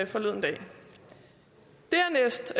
forleden dag dernæst